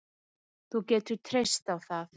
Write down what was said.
Þú getur treyst á það